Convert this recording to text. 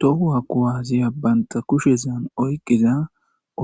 Toho kuwasiya banta kushezan oyqiza